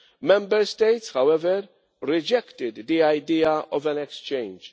Member States, however, rejected the idea of an exchange.